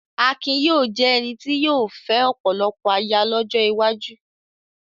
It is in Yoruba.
Akin yóò jẹ́ ẹni tí yóò fẹ́ ọ̀pọ̀lọpọ̀ aya lọ́jọ́ iwájú.